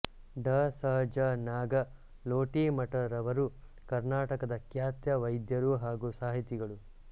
ಡಾ ಸ ಜ ನಾಗಲೋಟಿಮಠರವರು ಕರ್ನಾಟಕದ ಖ್ಯಾತ ವೈದ್ಯರು ಹಾಗು ಸಾಹಿತಿಗಳು